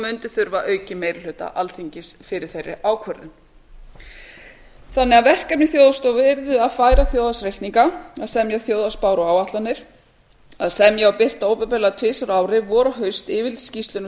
mundi þurfa aukinn meiri hluta alþingis fyrir þeirri ákvörðun verkefni þjóðhagsstofu yrðu fyrstu að færa þjóðhagsreikninga annars að semja þjóðhagsspár og áætlanir þriðja að semja og birta opinberlega tvisvar á ári vor og haust yfirlitsskýrslur um